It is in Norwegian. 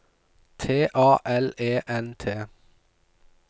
T A L E N T